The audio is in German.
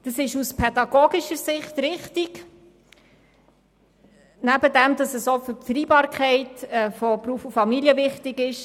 Das ist aus pädagogischer Sicht wichtig, nebstdem es auch für die Vereinbarkeit von Beruf und Familie bedeutsam ist.